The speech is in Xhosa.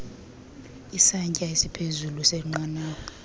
isantsya esiphezulu senqanawa